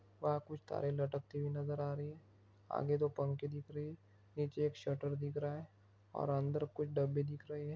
वहाँ कुछ तारे लटकती हुई नजर आ रही हैं। आगे दो पंखे दिख रहे हैं। नीचे एक शटर दिख रहा हैं। और अंदर कुछ डब्बे दिख रहे हैं।